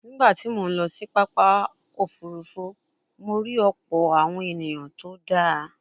Nígbà tí mo ń lọ sí pápákọ̀ òfuurufú, mo rí ọ̀pọ̀ awon eniyan tó dáa